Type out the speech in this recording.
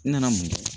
N nana mun kɛ